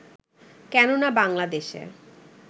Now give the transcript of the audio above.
কেননা বাংলাদেশে